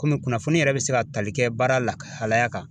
Komi kunnafoni yɛrɛ be se ka tali kɛ baara lakahalaya kan